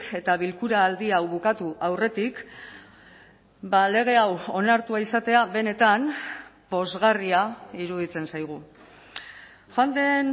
eta bilkura aldi hau bukatu aurretik lege hau onartua izatea benetan pozgarria iruditzen zaigu joan den